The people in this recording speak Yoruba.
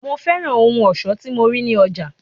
Mo fẹ́ràn ohun ọ̀ṣọ́ tí mo rí ní ọjà.